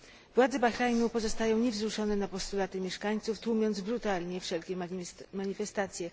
Władze Bahrajnu pozostają niewzruszone na postulaty mieszkańców, tłumiąc brutalnie wszelkie manifestacje.